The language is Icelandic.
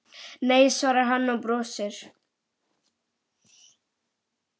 Nei svarar hann og brosir.